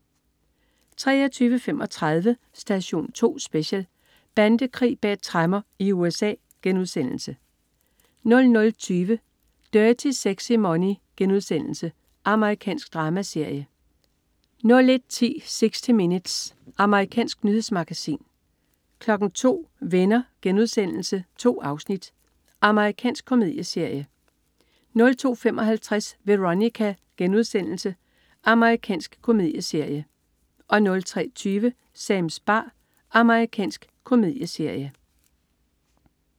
23.35 Station 2 Special: Bandekrig bag tremmer i USA* 00.20 Dirty Sexy Money.* Amerikansk dramaserie 01.10 60 Minutes. Amerikansk nyhedsmagasin 02.00 Venner.* 2 afsnit. Amerikansk komedieserie 02.55 Veronica.* Amerikansk komedieserie 03.20 Sams bar. Amerikansk komedieserie